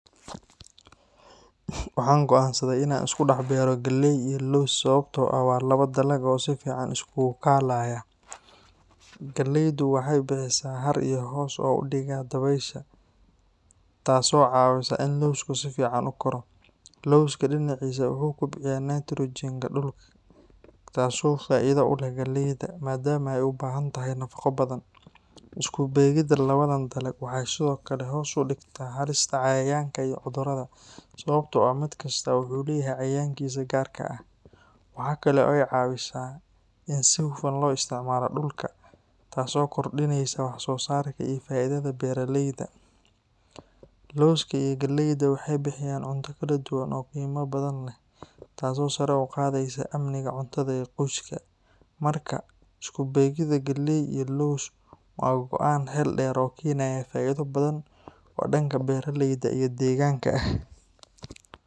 Waxaan go’aansaday in aan isku beero galley iyo laws sababtoo ah waa laba dalag oo si fiican isugu kaalaya. Galleydu waxay bixisaa hadh iyo hoos u dhiga dabaysha, taasoo caawisa in lawsku si fiican u koro. Lawska dhinaciisa, wuxuu kobciyaa nitrogen-ka dhulka taasoo faa’iido u leh galleeyda, maadaama ay u baahan tahay nafaqo badan. Isku beegidda labadan dalag waxay sidoo kale hoos u dhigtaa halista cayayaanka iyo cudurrada, sababtoo ah mid kastaa wuxuu leeyahay cayayaankiisa gaarka ah. Waxa kale oo ay caawisaa in si hufan loo isticmaalo dhulka, taasoo kordhinaysa wax-soosaarka iyo faa’iidada beeralayda. Lawska iyo galleyda waxay bixiyaan cunto kala duwan oo qiimo badan leh, taasoo sare u qaadaysa amniga cuntada ee qoyska. Marka, isku beegidda galley iyo laws waa go’aan xeel dheer oo keenaya faa’iido badan oo dhanka beeraleyda iyo deegaanka ah.